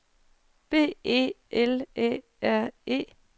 B E L Æ R E